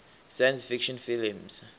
science fiction films